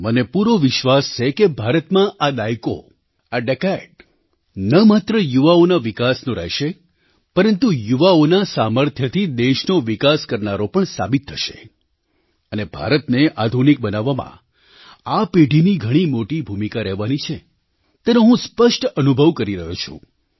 મને પૂરો વિશ્વાસ છે કે ભારતમાં આ દાયકો આ ડિકેડ ન માત્ર યુવાઓના વિકાસનો રહેશે પરંતુ યુવાઓના સામર્થ્યથી દેશનો વિકાસ કરનારો પણ સાબિત થશે અને ભારતને આધુનિક બનાવવામાં આ પેઢીની ઘણી મોટી ભૂમિકા રહેવાની છે તેનો હું સ્પષ્ટ અનુભવ કરી રહ્યો છું